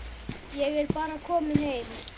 Ég er bara kominn heim.